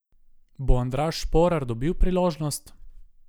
Bo Andraž Šporar dobil priložnost?